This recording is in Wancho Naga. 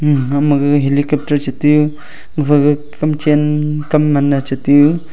egamaga helicopter che tiyu gaphaga kamchen kamnam mache tiyu.